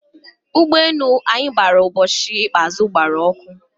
ụgbọ enu anyi bara ubochi ikpeazu gbara ọkụ